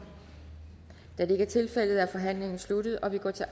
da det ikke er tilfældet er forhandlingen sluttet og vi går til